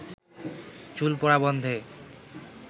চুল পড়া বন্ধে